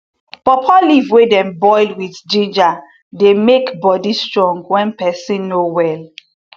pawpaw leaf wey dem boil with ginger dey make body strong wen peson no well